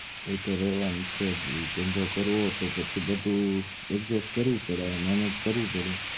એ તો રેવાનું જ છે બધું ધંધો કરવો હોય તો પછી એ બધું adjust કરવું પડે manage કરવું પડે